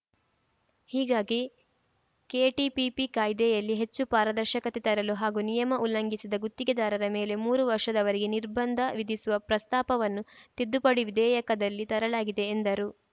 ಹೀಗಾಗಿ ಕೆಟಿಪಿಪಿ ಕಾಯ್ದೆಯಲ್ಲಿ ಹೆಚ್ಚು ಪಾರದರ್ಶಕತೆ ತರಲು ಹಾಗೂ ನಿಯಮ ಉಲ್ಲಂಘಿಸಿದ ಗುತ್ತಿಗೆದಾರರ ಮೇಲೆ ಮೂರು ವರ್ಷದವರೆಗೆ ನಿರ್ಬಂಧ ವಿಧಿಸುವ ಪ್ರಸ್ತಾಪವನ್ನು ತಿದ್ದುಪಡಿ ವಿಧೇಯಕದಲ್ಲಿ ತರಲಾಗಿದೆ ಎಂದರು